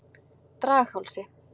Draghálsi